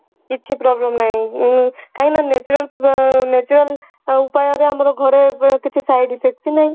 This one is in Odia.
କିଛି problem ନାଇଁ ଉଁ କାହିଁକି ନା natural ଉଁ natural ଉପାଯରେ ଆମର ଘରେ ଯୋଊ କିଛି side effects ହିଁ ନାହିଁ